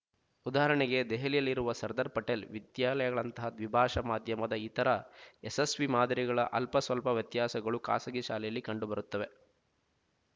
ಉದಾಹರಣೆಗೆ ದೆಹಲಿಯಲ್ಲಿರುವ ಸರ್ದಾರ್ ಪಟೇಲ್ ವಿದ್ಯಾಲಯಗಳಂತಹ ದ್ವಿಭಾಷಾ ಮಾಧ್ಯಮದ ಇತರ ಯಶಸ್ವೀ ಮಾದರಿಗಳ ಅಲ್ಪಸ್ವಲ್ಪ ವ್ಯತ್ಯಾಸಗಳು ಖಾಸಗಿ ಶಾಲೆಗಳಲ್ಲಿ ಕಂಡುಬರುತ್ತವೆ